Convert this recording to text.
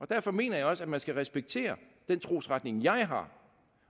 derfor mener jeg også at man skal respektere den trosretning jeg har